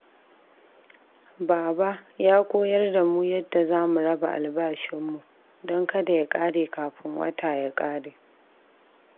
Baba ya koyar da mu yadda za mu raba albashinmu don kada ya kare kafin wata ya kare.